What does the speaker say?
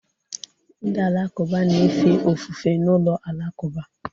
ndị Alakụba na-efe ofufe n'ụlọ alakụba